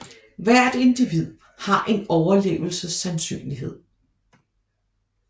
Hvert individ har en overlevelsessandsynlighed W